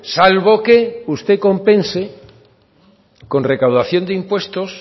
salvo que usted compense con recaudación de impuestos